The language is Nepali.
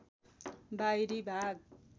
बाहिरी भाग